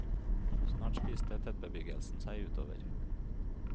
Snart spiste tettbebyggelsen seg utover.